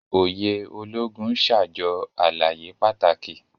Òye Ológùn n ṣajọ àlàyé pàtàkì.